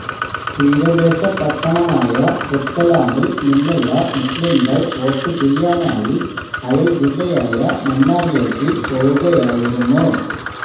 തീരദേശ പട്ടണമായ പുത്തലാമില് നിന്നുള്ള മുസ്്ലിംകള് വോട്ട് ചെയ്യാനായി അയല് ജില്ലയായ മന്നാറിലേക്ക് പോകുകായിരുന്നു